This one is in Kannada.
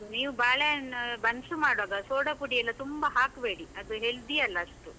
ನೀವ್ ಬಾಳೆಹಣ್ಣು ಬನ್ಸ್ ಮಾಡುವಾಗ soda ಪುಡಿಯೆಲ್ಲ ತುಂಬಾ ಹಾಕ್ಬೇಡಿ ಅದು healthy ಅಲ್ಲ ಅಷ್ಟು.